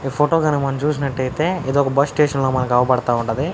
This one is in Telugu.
ఈ ఫోటో గనక మనం చూసినట్టైతే ఇదొక బస్సు స్టేషన్ ల మనకు అవపడతా ఉన్నది.